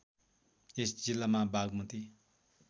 यस जिल्लामा बागमती